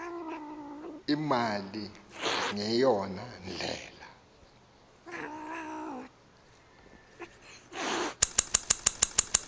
imali ngeyona ndlela